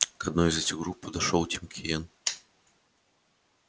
к одной из этих групп подошёл тим кинен